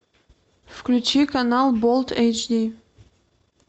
включи канал болт эйч ди